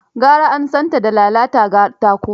Garaan san ta da lalata katako.